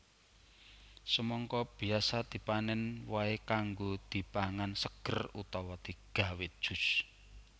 Semangka biasa dipanèn wohé kanggo dipangan seger utawa digawé jus